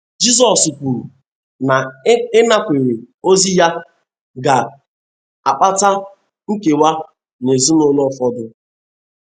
Jizọs kwuru na ịnakwere ozi ya ga - akpata nkewa n’ezinụlọ ụfọdụ.